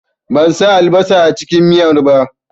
Ban sa albasa a cikin miyar ba